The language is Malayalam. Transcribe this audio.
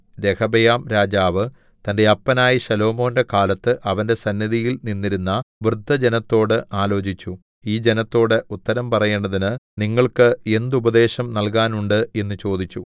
രെഹബെയാംരാജാവ് തന്റെ അപ്പനായ ശലോമോന്റെ കാലത്ത് അവന്റെ സന്നിധിയിൽ നിന്നിരുന്ന വൃദ്ധജനത്തോട് ആലോചിച്ചു ഈ ജനത്തോട് ഉത്തരം പറയേണ്ടതിന് നിങ്ങൾക്ക് എന്തുപദേശം നൽകാനുണ്ട് എന്ന് ചോദിച്ചു